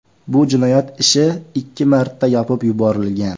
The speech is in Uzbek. Bu jinoyat ishi ikki marta yopib yuborilgan.